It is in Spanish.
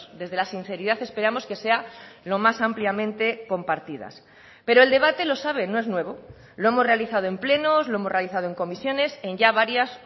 desde la sinceridad esperamos que sea lo más ampliamente compartidas pero el debate lo sabe no es nuevo lo hemos realizado en plenos lo hemos realizado en comisiones en ya varias